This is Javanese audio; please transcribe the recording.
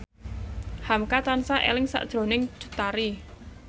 hamka tansah eling sakjroning Cut Tari